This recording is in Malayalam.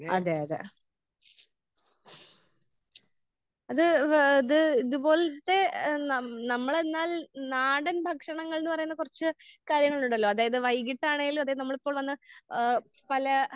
അതെ അതെ അത് ഏഹ് ഇത് ഇത് പോലത്തെ ഏഹ് നമ്മള് എന്നാൽ നാടൻ ഭക്ഷണങ്ങൾ എന്ന് പറയുമ്പോൾ കുറച്ച് കാര്യങ്ങളുണ്ടല്ലോ അതായത് വൈകീട്ടാണെങ്കിലും അതെ നമ്മളിപ്പോൾ വന്ന് ഏഹ് പല